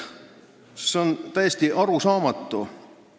See on täiesti arusaamatu.